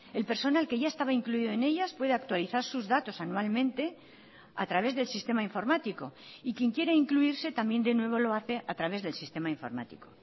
el personal que ya estaba incluido en ellas puede actualizar sus datos anualmente a través del sistema informático y quien quiera incluirse también de nuevo lo hace a través del sistema informático